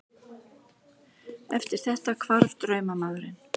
Eftir þetta hvarf draumamaðurinn.